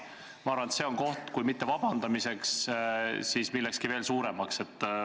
Ma arvan, et see on koht mitte ainult vabandamiseks, vaid vahest millekski veel enamaks.